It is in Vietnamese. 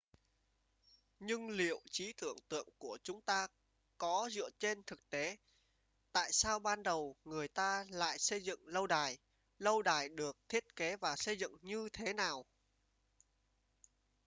nhưng liệu trí tưởng tượng của chúng ta có dựa trên thực tế tại sao ban đầu người ta lại xây dựng lâu đài lâu đài được thiết kế và xây dựng như thế nào